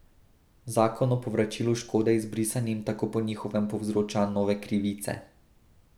Zakon o povračilu škode izbrisanim tako po njihovem povzroča nove krivice.